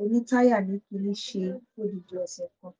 oní táyà ní kínní ṣe fọ́dìdì ọ̀sẹ̀ kan